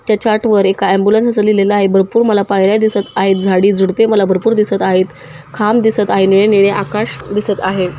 त्याच्या आत वर एक एम्ब्युलेन्स आस लिहलेल आहे भरपूर मला पायर्‍या दिसत आहेत झाडी झुडपे मला भरपूर दिसत आहेत खांब दिसत आहे निळ-निळे आकाश दिसत आहे.